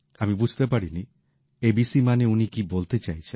আমি বুঝতে পারিনি এবিসি মানে উনি কি বলতে চাইছেন